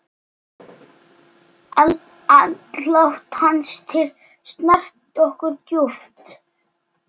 Andlát hans snart okkur djúpt.